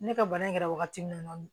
Ne ka baara in kɛra wagati min na